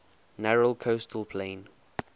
narrow coastal plain